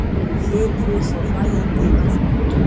Hlupu svo hlæjandi í burtu.